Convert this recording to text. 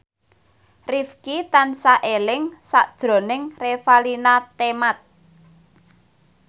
Rifqi tansah eling sakjroning Revalina Temat